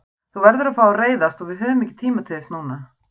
Þú verður að fá að reiðast og við höfum ekki tíma til þess núna.